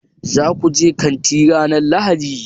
Za ku je kanti ranar Lahadi?